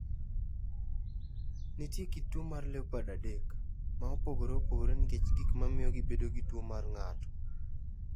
Nitie kit tuwo mar LEOPARD adek, ma opogore opogore nikech gik ma miyo gibedo gi tuwo mar ng’ato.